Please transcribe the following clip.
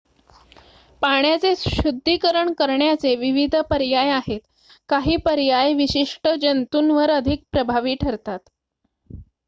पाण्याचे शुद्धीकरण करण्याचे विविध पर्याय आहेत काही पर्याय विशिष्ट जंतुंवर अधिक प्रभावी ठरतात